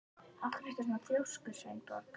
Af hverju ertu svona þrjóskur, Sveinborg?